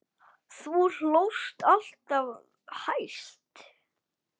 Þú hlóst alltaf hæst.